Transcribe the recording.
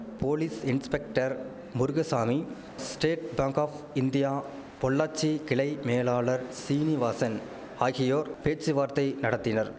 police inspector Murugasamy state bank of India Pollachi கிளை மேலாளர் சீனிவாசன் ஆகியோர் பேச்சுவார்த்தை நடத்தினர்